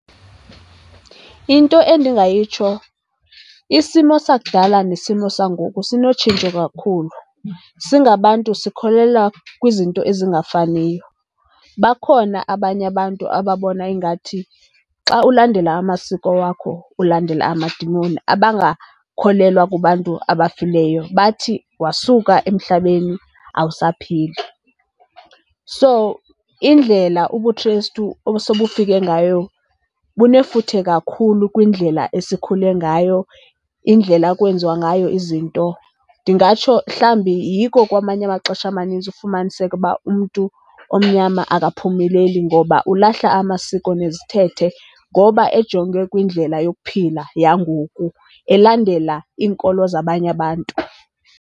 Into endingayitsho, isimo sakudala nesimo sam ngoku sinotshintsho kakhulu. Singabantu sikholelwa kwizinto ezingafaniyo. Bakhona abanye abantu ababona ingathi xa ulandela amasiko wakho ulandela amadimoni, abangakholelwa kubantu abafiyileyo. Bathi wasuka emhlabeni awusaphili. So indlela ubuKristu obusobufike ngayo bunefuthe kakhulu kwindlela esikhule ngayo, indlela ekwenziwa ngayo izinto. Ndingatsho mhlawumbi yiko kwamanye amaxesha amanintsi ufumaniseke uba umntu omnyama akaphumeleli. Ngoba ulahla amasiko nezithethe ngoba ejonge kwindlela yokuphila yangoku, elandela iinkolo zabanye abantu.